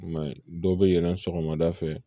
I m'a ye dɔw bɛ yɛlɛn sɔgɔmada fɛ